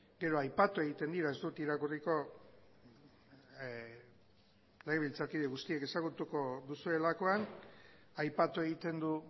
gero aipatu egiten dira ez dut irakurriko legebiltzarkide guztiek ezagutuko duzuelakoan aipatu egiten du